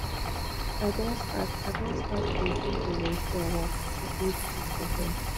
i don start i don start to dey do volunteer work for old pipu home